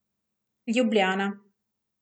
Ljubljana.